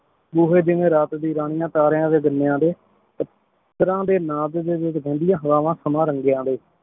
ਬੋਹੇ ਜਿਵੇਂ ਰਾਤ ਡਿਯਨ ਰਾਨਿਯਾਂ ਤਾਰੀਆਂ ਦੇ ਦਰਮ੍ਯਾਨ ਦੇ ਮਿਤਰਾਂ ਦੇ ਨਾਮ ਵਿਚ ਰੇਹ੍ਨ੍ਦਿਯਾਂ ਹਵਾਵਾਂ ਸਮਾਂ ਰੰਗੀਆਂ ਦੇ